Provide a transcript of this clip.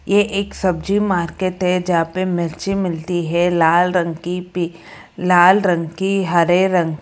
ये एक सब्जी मार्केट है जहां पर मिर्ची मिलती है लाल रंग की पि लाल रंग की हरे रंग--